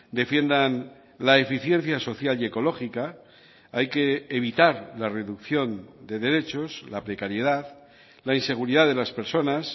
defiendan la eficiencia social y ecológica hay que evitar la reducción de derechos la precariedad la inseguridad de las personas